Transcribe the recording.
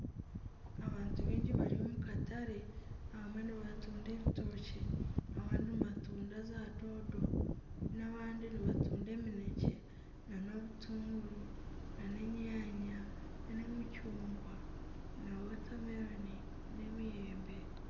Abantu baingi bari omu katare abamwe nibatunda ebitokye, abandi nibatunda za doodo, n'abandi nibatunda eminekye, nana obutunguru, nana enyaanya, nana emicungwa na wotameroni n'emiyembe.